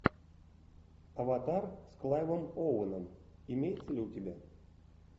аватар с клайвом оуэном имеется ли у тебя